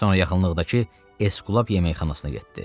Sonra yaxınlıqdakı Esblab yeməkxanasına getdi.